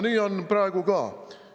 Nii on praegu ka.